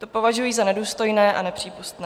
To považuji za nedůstojné a nepřípustné.